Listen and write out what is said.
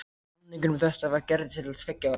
Samningur um þetta var gerður til tveggja ára.